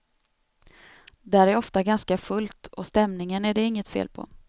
Där är ofta ganska fullt och stämningen är det inget fel på.